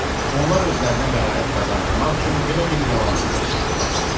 Onlar özlərinə bəraət qazandırmaq üçün belə bir yalan uydurmuşdular.